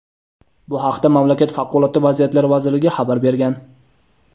Bu haqda mamlakat Favqulodda vaziyatlar vazirligi xabar bergan.